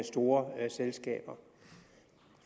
store selskaber